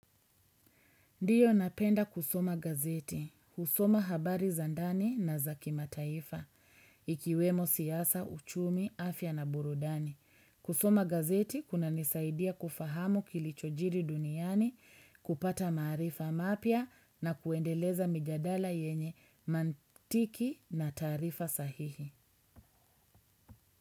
Ndiyo napenda kusoma gazeti, kusoma habari za ndani na za kimataifa, ikiwemo siasa, uchumi, afya na burudani. Kusoma gazeti kunanisaidia kufahamu kilichojiri duniani, kupata maarifa mapya na kuendeleza mijadala yenye mantiki na taarifa sahihi.